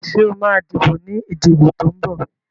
Sọ ma díbò ní ìdìbò tó ń bọ̀?